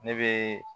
Ne bɛ